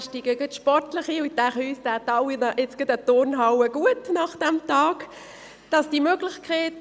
Ich denke, uns allen würde die Benutzung einer Turnhalle nach einem solchen Tag guttun.